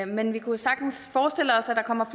men vi kunne sagtens forestille os at der kommer